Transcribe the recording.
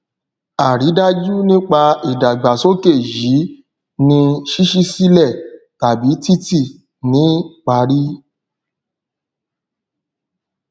àridájú nípa ìdàgbàsókè yìí ni ṣíṣí sílè tàbí títì ní parí